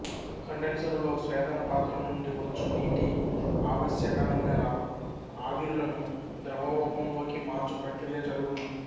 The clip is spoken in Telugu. కండెన్సరులో స్వేదన పాత్ర నుండి వచ్చు నీటి ఆవశ్యక నూనెల ఆవిరులను ద్రవరూపంలోకి మార్చు ప్రక్రియ జరుగును